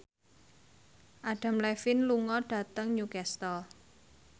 Adam Levine lunga dhateng Newcastle